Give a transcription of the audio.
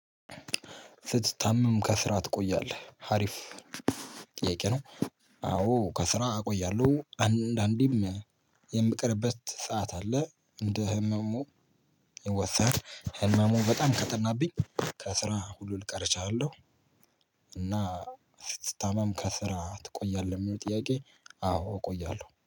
ስትታመም ከስራ ትቆያለህ ሀሪፍ ጥያቄ ነው? አዎ ከስራ እቆያለሁ አንድ አንዳንዴም የምቀርበት ሰዓት አለ እንደ ህመሙ ወሰድ ህመሙ በጣም ከተናብኝ ከስራ ሁሉ ልቀር እችላለሁ። እና ስትታመም ከስራ ትቆያለህ የሚለው ጥያቄ? አዎ እቆያለሁ